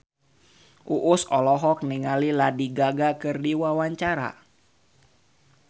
Uus olohok ningali Lady Gaga keur diwawancara